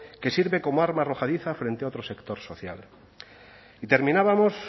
que sirve como arma arrojadiza frente a otro sector social y terminábamos